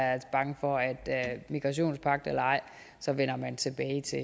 er jeg bange for at migrationspagt eller ej så vender man tilbage til